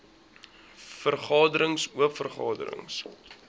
vergaderings oop vergaderings